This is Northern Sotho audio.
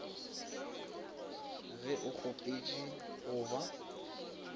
ge o kgopetše go ba